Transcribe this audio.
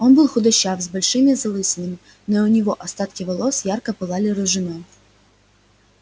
он был худощав с большими залысинами но и у него остатки волос ярко пылали рыжиной